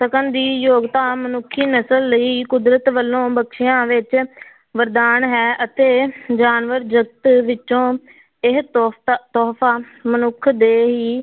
ਸਕਣ ਦੀ ਯੋਗਤਾ ਮਨੁੱਖੀ ਨਸ਼ਲ ਲਈ ਕੁਦਰਤ ਵੱਲੋਂ ਬਖ਼ਸਿਆ ਵਿੱਚ ਵਰਦਾਨ ਹੈ ਅਤੇ ਜਾਨਵਰ ਜਾਤ ਵਿੱਚੋਂ ਇਹ ਤੋਹਫ਼ਾ ਮਨੁੱਖ ਦੇ ਹੀ